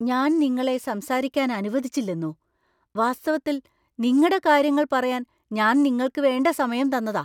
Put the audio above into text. ഞാൻ നിങ്ങളെ സംസാരിക്കാൻ അനുവദിച്ചില്ലെന്നോ! വാസ്തവത്തിൽ നിങ്ങടെ കാര്യങ്ങൾ പറയാൻ ഞാൻ നിങ്ങൾക്ക് വേണ്ട സമയം തന്നതാ.